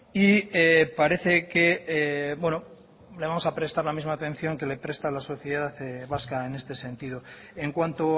y parece que le vamos a prestar la misma atención que le presta a la sociedad vasca en este sentido en cuanto